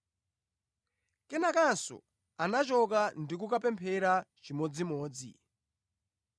Kenakanso anachoka ndi kukapemphera chimodzimodzi.